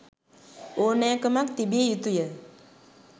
ඕනෑකමක් තිබිය යුතුය.